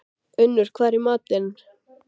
Unnur, hvað er í matinn?